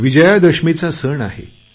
विजयादशमीचा सण आहे